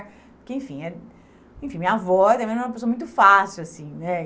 Porque, enfim, eh... Enfim minha avó também não era uma pessoa muito fácil, assim, né?